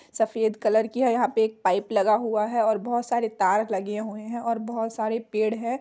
सफेद कलर की है यहां पे एक पाइप लगा हुआ है और बहोत सारे तार लगे हुए हैं और बहोत सारे पेड़ हैं।